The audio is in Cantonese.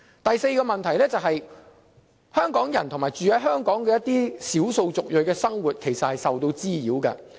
第四個問題是，香港人與居住在香港的少數族裔的生活受到滋擾。